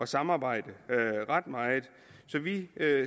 samarbejde ret meget vi